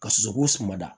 Ka sosoko suma da